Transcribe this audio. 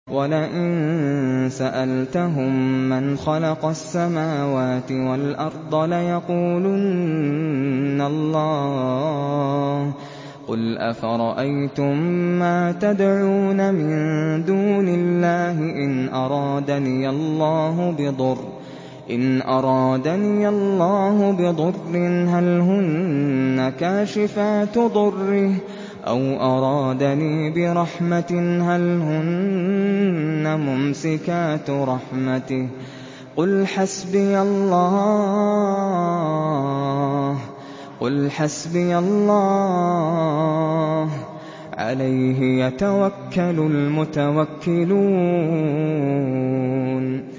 وَلَئِن سَأَلْتَهُم مَّنْ خَلَقَ السَّمَاوَاتِ وَالْأَرْضَ لَيَقُولُنَّ اللَّهُ ۚ قُلْ أَفَرَأَيْتُم مَّا تَدْعُونَ مِن دُونِ اللَّهِ إِنْ أَرَادَنِيَ اللَّهُ بِضُرٍّ هَلْ هُنَّ كَاشِفَاتُ ضُرِّهِ أَوْ أَرَادَنِي بِرَحْمَةٍ هَلْ هُنَّ مُمْسِكَاتُ رَحْمَتِهِ ۚ قُلْ حَسْبِيَ اللَّهُ ۖ عَلَيْهِ يَتَوَكَّلُ الْمُتَوَكِّلُونَ